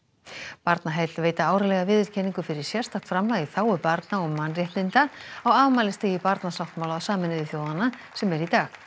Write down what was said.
Barnaheill veita árlega viðurkenningu fyrir sérstakt framlag í þágu barna og mannréttinda á afmælisdegi barnasáttmála Sameinuðu þjóðanna sem er í dag